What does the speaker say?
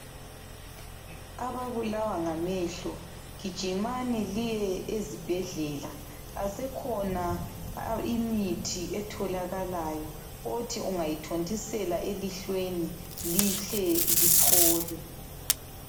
Ababulawa ngamehlo gijimani liye ezibhedlela, isekhona imithi etholakalayo othi ungayithontisela elihlweni lihle liphole.